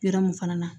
Yɔrɔ mun fana na